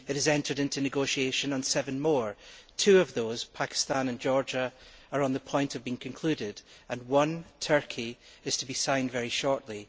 it has entered into negotiations on seven more, two of which Pakistan and Georgia are on the point of being concluded and one, Turkey, is to be signed very shortly.